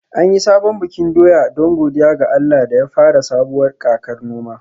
An yi sabon bikin doya don godiya ga Allah da ya fara sabuwar kakar noma